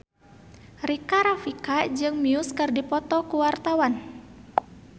Rika Rafika jeung Muse keur dipoto ku wartawan